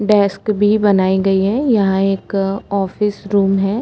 Desk भी बनाई गई है यहाँ एक ऑफिस रूम है।